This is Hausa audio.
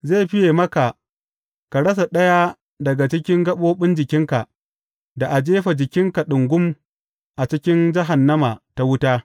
Zai fiye maka ka rasa ɗaya daga cikin gaɓoɓin jikinka, da a jefa jikinka ɗungum a cikin jahannama ta wuta.